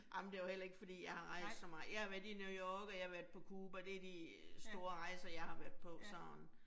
Ej men det var heller ikke fordi jeg har rejst så meget, jeg har været i New York og jeg har været på Cuba, det de store rejser jeg har været på sådan